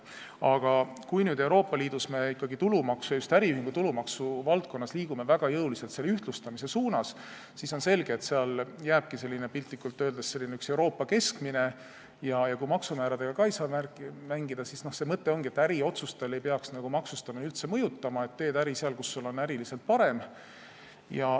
Aga kui me Euroopa Liidus ikkagi just äriühingu tulumaksu valdkonnas liigume väga jõuliselt ühtlustamise suunas, siis on selge, et seal jääbki piltlikult öeldes üks Euroopa keskmine, ja kui maksumääradega ka ei saa mängida, siis selle mõte ongi, et äriotsustele ei peaks maksustamine üldse mõjuma, et teed äri seal, kus sul on äriliselt parem.